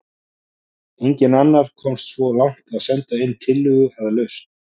enginn annar komst svo langt að senda inn tillögu að lausn